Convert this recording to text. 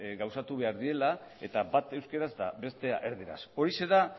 gauzatu behar direla eta bat euskaraz eta bestea erdaraz horixe da